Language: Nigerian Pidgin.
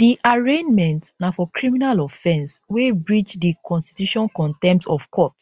di arraignment na for criminal offence wey breach di constitutioncontempt of court